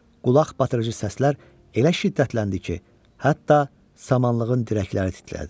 Qulaq batırıcı səslər elə şiddətləndi ki, hətta samanlığın dirəkləri titlədi.